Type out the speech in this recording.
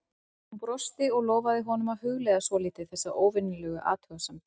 Hún brosti og lofaði honum að hugleiða svolítið þessa óvenjulegu athugasemd.